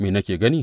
Me nake gani?